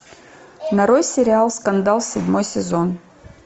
нарой сериал скандал седьмой сезон